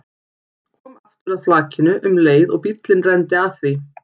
Kom aftur að flakinu um leið og bíllinn renndi að því.